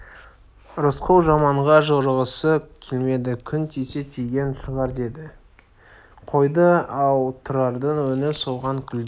рысқұл жаманға жорығысы келмеді күн тисе тиген шығар деді де қойды ал тұрардың өңі солған гүлдей